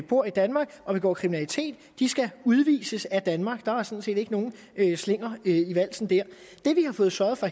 bor i danmark og begår kriminalitet skal udvises af danmark der er sådan set ikke nogen slinger i valsen her det vi har fået sørget for